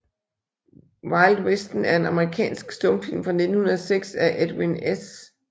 Vild Vesten er en amerikansk stumfilm fra 1906 af Edwin S